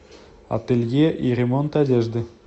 ателье и ремонт одежды